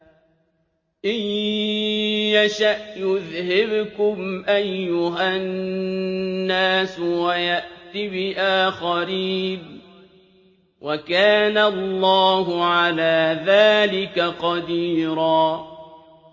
إِن يَشَأْ يُذْهِبْكُمْ أَيُّهَا النَّاسُ وَيَأْتِ بِآخَرِينَ ۚ وَكَانَ اللَّهُ عَلَىٰ ذَٰلِكَ قَدِيرًا